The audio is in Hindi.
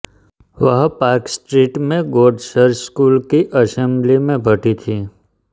वह पार्क स्ट्रीट में गॉड चर्च स्कूल की असेंबली में पढ़ी थीं